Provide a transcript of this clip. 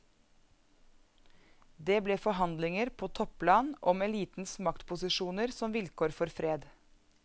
Det ble forhandlinger på topplan om elitens maktposisjoner som vilkår for fred.